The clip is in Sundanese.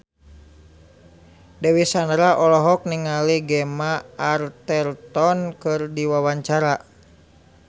Dewi Sandra olohok ningali Gemma Arterton keur diwawancara